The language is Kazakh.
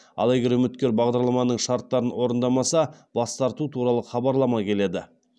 ал егер үміткер бағдарламаның шарттарын орындамаса бас тарту туралы хабарлама келеді